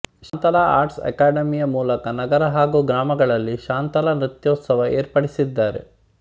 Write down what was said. Shantala arts academy ಯ ಮೂಲಕ ನಗರ ಹಾಗು ಗ್ರಾಮಗಳಲ್ಲಿ ಶಾಂತಲಾ ನೃತ್ಯೋತ್ಸವ ಏರ್ಪಡಿಸಿದ್ದಾರೆ